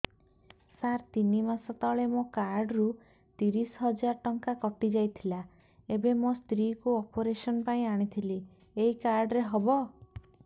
ସାର ତିନି ମାସ ତଳେ ମୋ କାର୍ଡ ରୁ ତିରିଶ ହଜାର ଟଙ୍କା କଟିଯାଇଥିଲା ଏବେ ମୋ ସ୍ତ୍ରୀ କୁ ଅପେରସନ ପାଇଁ ଆଣିଥିଲି ଏଇ କାର୍ଡ ରେ ହବ